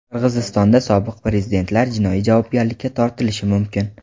Qirg‘izistonda sobiq prezidentlar jinoiy javobgarlikka tortilishi mumkin.